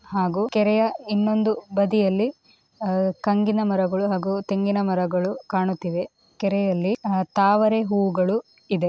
ಹಾಗೂ ಕೆರೆಯ ಇನ್ನೊಂದು ಬದಿಯಲ್ಲಿ ಕಂಗಿನ ಮರಗಳು ಹಾಗೂ ತೆಂಗಿನ ಮರಗಳು ಕಾಣುತ್ತಿವೆ ಕೆರೆಯಲ್ಲಿ ತಾವರೆ ಹೂವುಗಳು ಇದೆ .